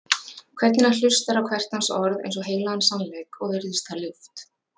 Hvernig hann hlustar á hvert hans orð eins og heilagan sannleik, og virðist það ljúft.